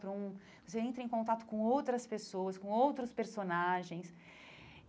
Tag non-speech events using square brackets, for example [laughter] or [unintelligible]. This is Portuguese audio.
[unintelligible] Você entra em contato com outras pessoas, com outros personagens.